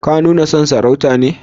Ka nuna son sarauta ne?